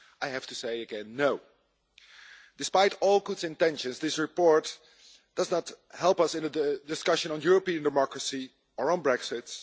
I have to say no again. Despite all good intentions, this report does not help us in the discussion on European democracy or on Brexit.